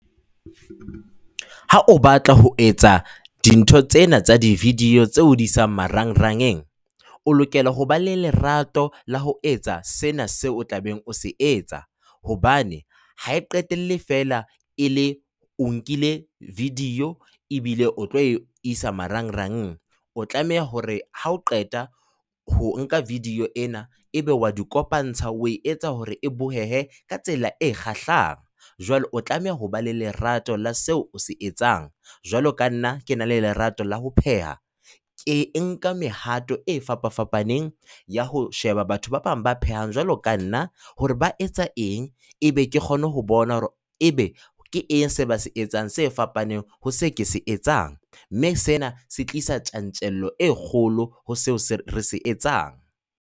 Ha o batla ho etsa dintho tsena tsa di-video tseo o di isang marangrang, o lokela hoba le lerato la ho etsa sena seo tlabeng o se etsa hobane ha e qetelle fela e le hore o nkile video ebile o tlo e isa marangrang. O tlameha hore ha o qeta ho nka video ena, ebe o a di kopantsha, o e etsa hore e bohehe ka tsela e kgahlang. Jwale o tlameha ho ba le lerato la seo o se etsang. Jwalo ka nna ke na le lerato la ho pheha. Ke nka mehato e fapafapaneng ya ho sheba batho ba bang ba phehang jwalo ka nna hore ba etsa eng, ebe ke kgone ho bona hore ebe ke eng seo ba se etsang se fapaneng ho se ke se etsang, mme sena se tlisa tjantjello e kgolo ho se re se etsang.